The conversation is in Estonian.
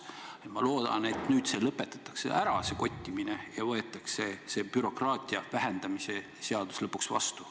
Nii et ma loodan, et nüüd lõpetatakse see kottimine ära ja võetakse see bürokraatia vähendamise seadus lõpuks vastu.